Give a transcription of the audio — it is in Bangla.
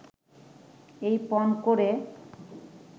এই পণ করে